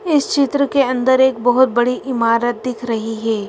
इस चित्र के अंदर एक बहुत बड़ी इमारत दिख रही है।